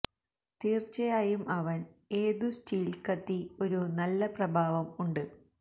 തീർച്ചയായും അവൻ ഏതു സ്റ്റീൽ കത്തി ഒരു നല്ല പ്രഭാവം ഉണ്ട്